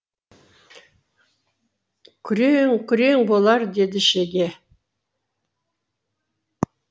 күрең күрең болар деді шеге